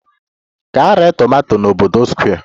Gaa ree tomato n'obodo Square!